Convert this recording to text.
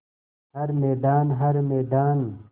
हर मैदान हर मैदान